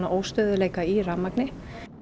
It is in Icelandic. óstöðugleika í rafmagni